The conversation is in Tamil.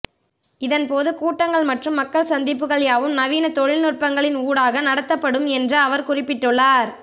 இதன்போது கூட்டங்கள் மற்றும் மக்கள் சந்திப்புக்கள் யாவும் நவீன தொழில்நுட்பங்களின் ஊடாக நடத்தப்படும் என்று அவர் குறிப்பிட்டுள்ளார்